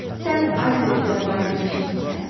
Sən aysberqlər barədə eşitmisən?